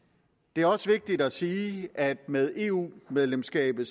det er også vigtigt at sige at med eu medlemskabet